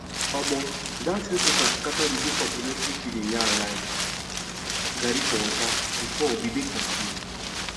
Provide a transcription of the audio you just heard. omo that health worker scatter the whole complementary feeding yarn like garri for water before we dey confuse